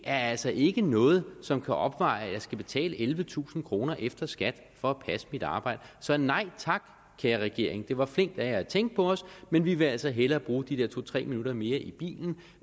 er altså ikke noget som kan opveje at jeg skal betale ellevetusind kroner efter skat for at passe mit arbejde så nej tak kære regering det var flinkt af jer at tænke på os men vi vil altså hellere bruge de der to tre minutter mere i bilen